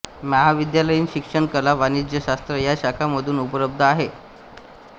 महाविद्यालयनीन शिक्षण कला वाणिज्य शास्त्र या शाखा मधून उपलब्ध आहे